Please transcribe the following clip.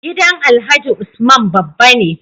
Gidan alhaji usman babba ne